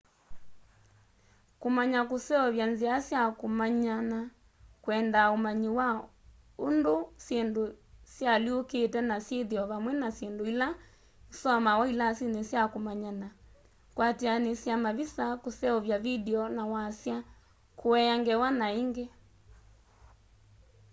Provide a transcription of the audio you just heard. kumanya kuseovya nzia sya kumanyana kwendaa umanyi wa unduũ syindũ syialyũkite na syithio vamwe na syindũ ila isomawa ilasini sya kũmanyana kwatianisya mavisa kuseuvya vindio na wasya kuea ngewa na ingi